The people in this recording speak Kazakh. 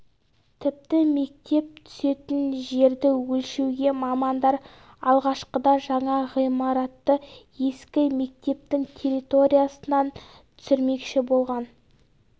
тіпті мектеп түсетін жерді өлшеуге мамандар алғашқыда жаңа ғимаратты ескі мектептің территориясынан түсірмекші болған